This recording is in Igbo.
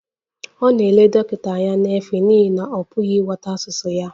Ọ na-ele dọkịta anya n'efu n'ihi na ọ pụghị ịghọta asụsụ ya